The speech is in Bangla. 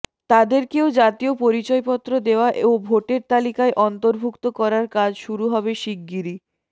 তাদেরকেও জাতীয় পরিচয়পত্র দেয়া ও ভোটার তালিকায় অন্তর্ভুক্ত করার কাজ শুরু হবে শিগগিরই